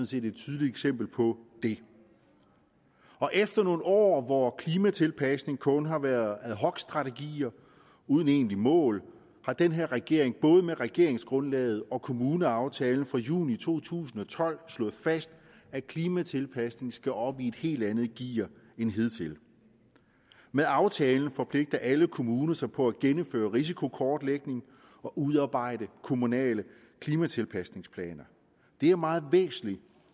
set et tydeligt eksempel på det efter nogle år hvor klimatilpasning kun har været ad hoc strategier uden egentlige mål har den her regering både med regeringsgrundlaget og kommuneaftalen fra juni to tusind og tolv slået fast at klimatilpasning skal op i et helt andet gear end hidtil med aftalen forpligter alle kommuner sig på at gennemføre risikokortlægning og udarbejde kommunale klimatilpasningsplaner det er meget væsentligt